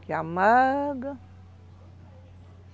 Que amarga.